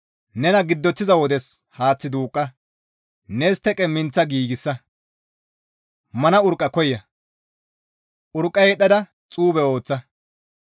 Nena giddoththiza wodes haath duuqqa; nees teqe minththa giigsa; mana urqqa koya; Urqqaa yedhdhada xuube ooththa.